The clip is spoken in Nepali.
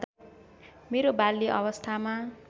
मेरो बाल्य अवस्थामा